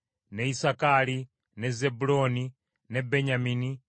ne Isakaali, ne Zebbulooni, ne Benyamini,